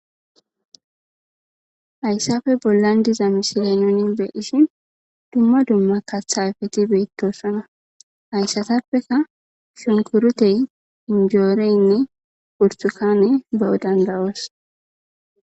Hayssappe bollan diza misile nuuni be7ishin dumma dumma kaththa ayfethi beththoosona; haysathappekka shunkkuruthee,zunjjooreenne burththukaanee be7o dandda7oos.